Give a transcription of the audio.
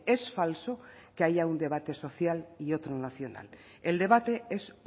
es falso que haya un debate social y otro nacional el debate es